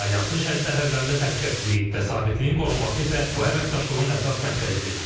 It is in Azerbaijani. Alyansın şərq sərhədlərində təhlükəsizliyin və sabitliyin qorunması isə bu əməkdaşlığın əsas məqsədidir.